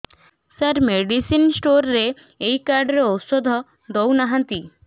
ସାର medicine store ରେ ଏଇ card ରେ ଔଷଧ ଦଉନାହାନ୍ତି